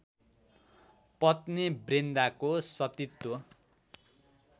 पत्नी वृन्दाको सतीत्व